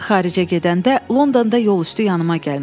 Xaricə gedəndə Londonda yolüstü yanıma gəlmişdi.